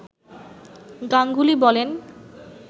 গাঙ্গুলি বলেন